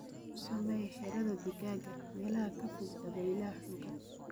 Ku sameey xiradhaa digaaga meel ka fog dabaylaha xooggan.